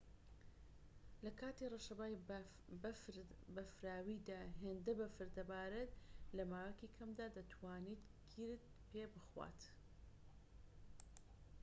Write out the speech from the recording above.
لەکاتی ڕەشەبای بەفراویدا هێندە بەفر دەبارێت لەماوەیەکی کەمدا دەتوانێت گیرت پێبخوات